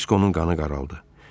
Diskonun qanı qaraldı.